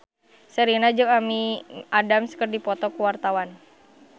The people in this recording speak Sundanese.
Sherina jeung Amy Adams keur dipoto ku wartawan